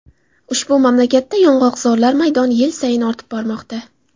Ushbu mamlakatda yong‘oqzorlar maydoni yil sayin ortib bormoqda.